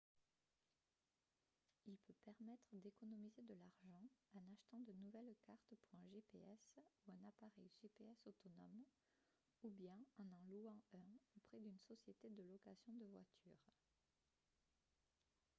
il peut permettre d'économiser de l'argent en achetant de nouvelles cartes pour un gps ou un appareil gps autonome ou bien en en louant un auprès d'une société de location de voitures